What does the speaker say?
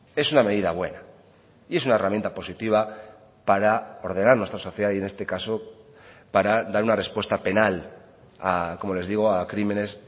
es una medida buena y es una herramienta positiva para ordenar nuestra sociedad y en este caso para dar una respuesta penal como les digo a crímenes